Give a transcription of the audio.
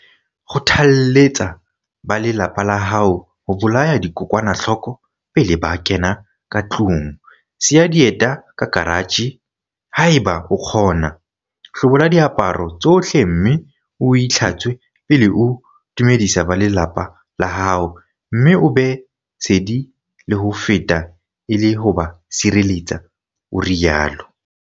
"Kgotha-lletsa ba lelapa la hao ho bolaya dikokwanahloko pele ba kena ka tlung, siya dieta ka karatjhe haeba o kgona, hlobola diaparo tsohle mme o itlhatswe pele o dumedisa ba lelapa la hao mme o be sedi le ho feta e le ho ba tshireletsa," o rialo.